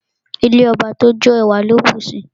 Ilé ọba tó jó, ẹwà ló bùsi.